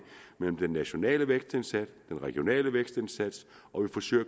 mellem den nationale vækstindsats den regionale vækstindsats og vi forsøger